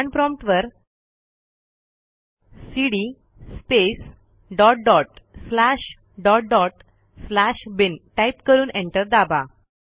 command prompt वरcd space dot dot slash dot dot slash bin type करून enter दाबा